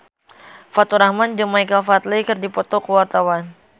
Faturrahman jeung Michael Flatley keur dipoto ku wartawan